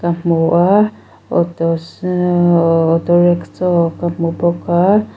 hmu a auto auto rickshaw ka hmu bawk a.